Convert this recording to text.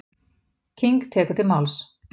King tekur til máls.